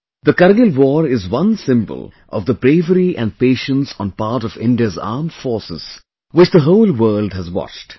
The Kargil war is one symbol of the bravery and patience on part of India's Armed Forces which the whole world has watched